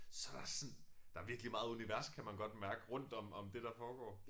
Så der også sådan der virkelig meget univers kan man godt mærke rundt om om det der foregår